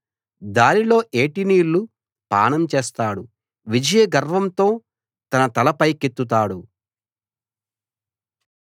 దారిలో ఏటి నీళ్లు పానం చేస్తాడు విజయగర్వంతో తన తల పైకెత్తుతాడు